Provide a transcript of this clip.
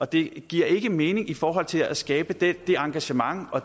det giver ikke mening i forhold til at skabe det engagement og